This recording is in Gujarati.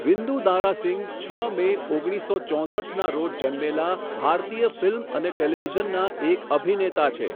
વિંદુ દારા સિંહ, છ મે, ઓગણીસસો ચોસઠના રોજ જન્મેલા, ભારતીય ફિલ્મ અને ટેલિવિઝનના એક અભિનેતા છે.